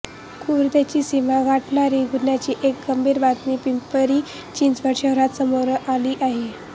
क्रूरतेची सीमा गाठणारी गुन्ह्याची एक गंभीर बातमी पिंपरी चिंचवड शहरात समोर आली आहे